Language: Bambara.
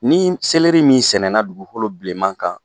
Ni seleri min sɛnɛna dugu fɔlɔ bilenman kan